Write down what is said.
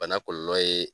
Bana kɔlɔlɔ ye